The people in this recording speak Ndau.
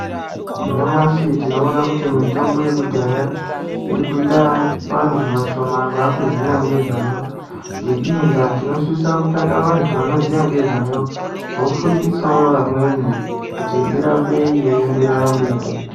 Nyamashi tinoona kuti mitombo yekudhaya irikuita vantu vashomani vakuziya ngezvayo. Ngeiyi ndaa tinosisa kutsvaga antu anoziya ngezvayo vofundisawo vamweni kuti irambe yeienderera mberi.